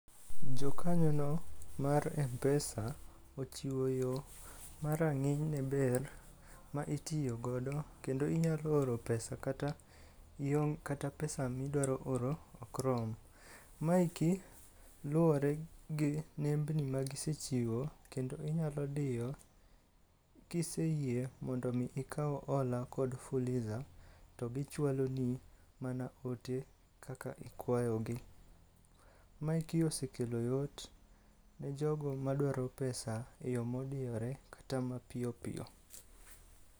Jokanyono mar Mpesa ochiwo yo ma rang'iny ne ber ma itiyogodo, kendo inyalo oro pesa kata iong', kata pesa miduaro oro ok rom. Maeki luwore gi nembni ma gisechiwo kendo inyalo diyo kiseyie mondo mi ikaw hola kod Fuliza, to gichwaloni mana ote kaka ikwayogi. Maeki osekelo yot ne jogo madwaro pesa e yo modiyore kata mapiyo piyo.